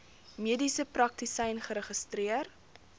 mediese praktisyn geregistreer